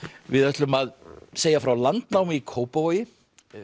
við ætlum að segja frá landnámi í Kópavogi